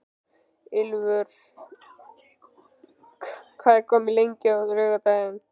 Ylfur, hvað er opið lengi á laugardaginn?